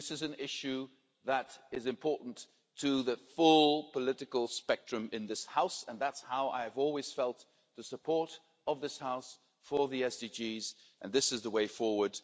This is an issue that is important to the full political spectrum in this House, and that's how I've always felt the support of this House for the SDGs and this is the way forward.